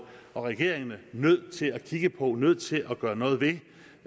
og regeringerne nødt til at kigge på nødt til at gøre noget ved